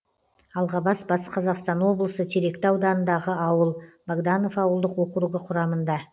алғабас батыс қазақстан облысы теректі ауданындағы ауыл богданов ауылдық округі құрамында